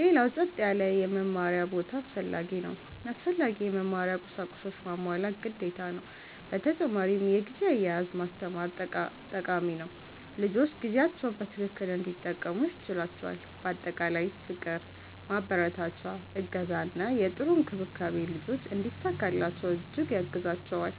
ሌላው ጸጥ ያለ የመማሪያ ቦታ አስፈላጊ ነው። አስፈላጊ የመማሪያ ቁሳቁሶችንም ማሟላት ግዴታ ነው። በተጨማሪ የጊዜ አያያዝ ማስተማር ጠቃሚ ነው፤ ልጆች ጊዜያቸውን በትክክል እንዲጠቀሙ ያስችላቸዋል። በአጠቃላይ ፍቅር፣ ማበረታቻ፣ እገዛ እና ጥሩ እንክብካቤ ልጆች እንዲሳካላቸው እጅግ ያግዛቸዋል።